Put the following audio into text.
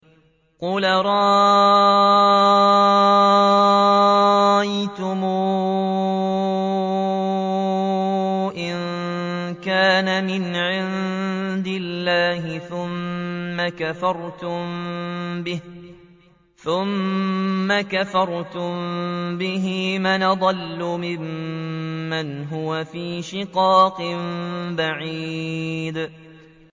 قُلْ أَرَأَيْتُمْ إِن كَانَ مِنْ عِندِ اللَّهِ ثُمَّ كَفَرْتُم بِهِ مَنْ أَضَلُّ مِمَّنْ هُوَ فِي شِقَاقٍ بَعِيدٍ